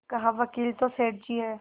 कहावकील तो सेठ जी हैं